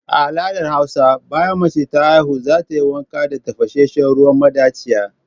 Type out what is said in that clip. A al'adar hausa, bayan mace ta haihu za ta yi wanka da tafashenshen ruwan madachiya.